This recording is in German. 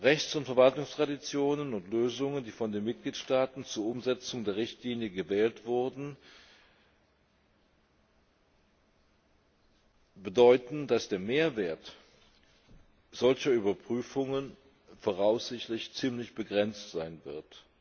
Rechts und Verwaltungstraditionen und Lösungen, die von den Mitgliedstaaten zur Umsetzung der Richtlinie gewählt wurden, bedeuten, dass der Mehrwert solcher Überprüfungen voraussichtlich ziemlich begrenzt sein wird.